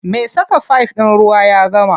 Me saka fif ɗin ruwa ya gama.